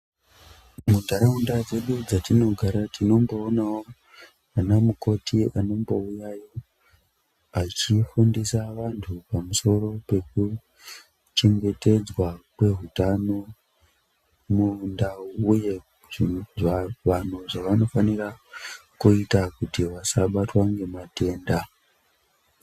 Muntaraunda dzedu dzatinogara tinomboonawo anamukoti anombouyayo achifundisa vantu pamusoro pekuchengetedzwa kweutano mundau uye vanhu zvavanofanira kuita kuti vasabatwa ngematenda.